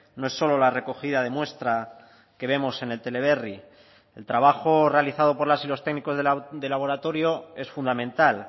no es solo la recogida de muestra que vemos en el teleberri el trabajo realizado por las y los técnicos de laboratorio es fundamental